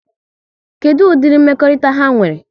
Kedụ ụdịri mmekọrịta ha nwere?